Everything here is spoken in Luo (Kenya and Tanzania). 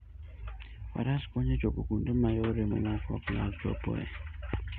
Faras konyo e chopo kuonde ma yore mamoko ok nyal chopoe.